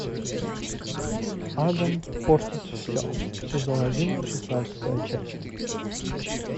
адам портит все сезон один шестнадцатая часть